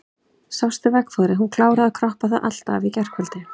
Sástu veggfóðrið, hún kláraði að kroppa það allt af í gærkvöld.